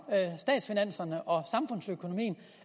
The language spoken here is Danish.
statsfinanserne og samfundsøkonomien